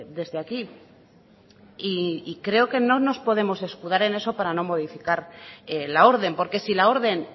desde aquí y creo que no nos podemos escudar en eso para no modificar la orden porque si la orden